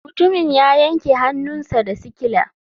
Mutumin ya yanke hannunsa da sikila.